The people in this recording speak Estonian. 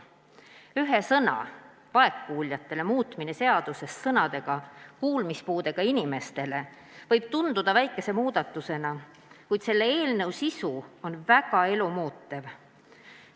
Ühe sõna, "vaegkuuljatele" muutmine seaduses sõnadega "kuulmispuudega inimestele" võib tunduda väikese muudatusena, kuid selle eelnõu sisu on väga elumuutev.